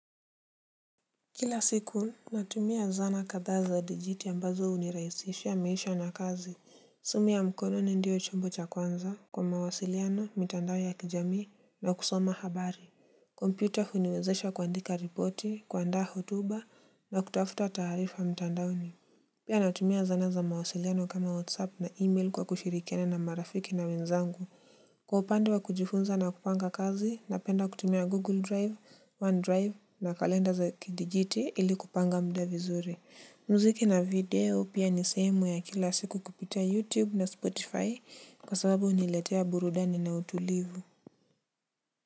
Kila siku natumia zana kadhaa za dijiti ambazo huniraikhisishia maisha na kazi. Simu ya mkono ni ndio chombo cha kwanza kwa mawasiliano, mitandao ya kijamii na kusoma habari. Kompyuta huniwezesha kuandika ripoti, kuandaa hotuba na kutafuta taarifa mitandaoni. Pia natumia zana za mawasiliano kama whatsapp na email kwa kushirikiana na marafiki na wenzangu. Kwa upande wa kujifunza na kupanga kazi, napenda kutumia Google Drive, OneDrive na kalenda za kidijiti ili kupanga muda vizuri. Muziki na video pia ni sehemu ya kila siku kupitia YouTube na Spotify kwa sababu huniletea burudani na utulivu.